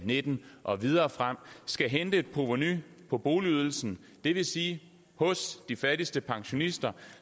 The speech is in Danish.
nitten og videre frem skal hente et provenu på boligydelsen det vil sige hos de fattigste pensionister